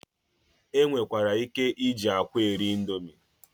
E nwekwara ike iji akwa eri indomi.